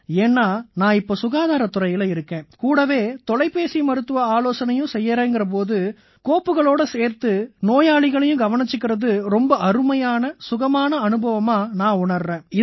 ஏன்னா நான் இப்ப சுகாதாரத் துறையில இருக்கேன் கூடவே தொலைபேசி வழியா மருத்துவ ஆலோசனையும் செய்யறேன்ங்கற போது கோப்புகளோட சேர்த்து நோயாளிகளையும் கவனிச்சுக்கறது ரொம்ப அருமையான சுகமான அனுபவமா நான் உணர்றேன்